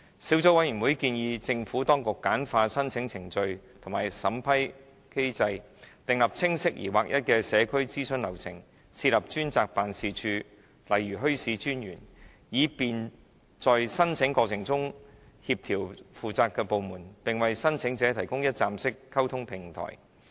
小組委員會建議政府當局簡化申請程序和審批機制，訂立清晰而劃一的社區諮詢流程，開設專責辦事處，例如墟市專員，以便在申請過程中協調負責的部門，並為申請者提供一站式溝通平台。